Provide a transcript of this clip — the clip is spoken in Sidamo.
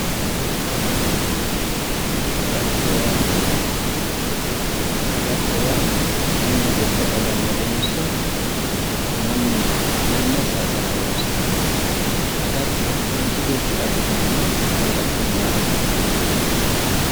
Agatto yaa mayyaate? mannu goore agannotenso, mannu yanna saayiisirara horoonsirannote? agatto manchi beettira abbitanno gawajjo maati?